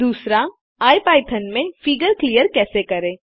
दूसरा इपिथॉन में फिगर क्लिअर कैसे करें